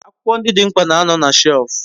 Akwukwo ndi di mkpa na ano na shef